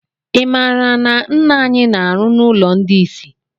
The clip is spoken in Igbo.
I maara na ńnà anyị na arụ n' ụlọ ndị isi?